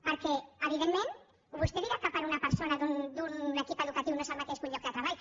perquè evidentment vostè pot dir que una persona d’un equip educatiu no és el mateix que un lloc de treball